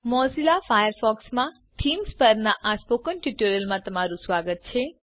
Mozilla ફાયરફોક્સમાં themes પરના આ સ્પોકન ટ્યુટોરીયલમાં તમારું સ્વાગત છે